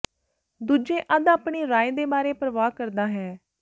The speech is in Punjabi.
ਦੂਜੇ ਅੱਧ ਆਪਣੀ ਰਾਏ ਦੇ ਬਾਰੇ ਪਰਵਾਹ ਕਰਦਾ ਹੈ